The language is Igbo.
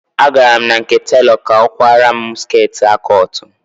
Agara m na nke telọ ka ọ kwara mụ skirtị A cụt